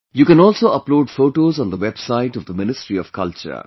You can also upload photos on the website of the Ministry of Culture